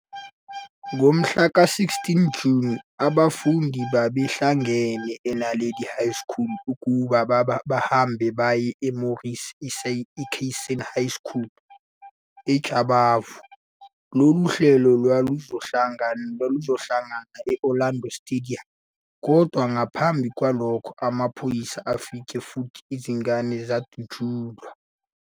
Ngomhla ka-16 Juni, abafundi babehlangene eNaledi High School ukuba bahambe baye eMorris Isaacson High School eJabavu. Lolu hlelo lwaluzohlangana e-Orlando Stadium, kodwa ngaphambi kwalokho amaphoyisa afika futhi izingane zadutshulwa.